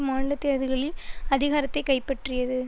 மாநில தேர்தல்களில் அதிகாரத்தை கைப்பற்றியது